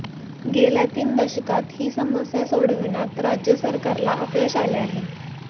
गेल्या तीन दशकांत ही समस्या सोडविण्यात राज्य सरकारला अपयश आले आहे